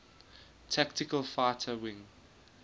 tactical fighter wing